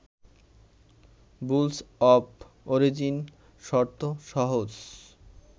rules of origin শর্ত সহজ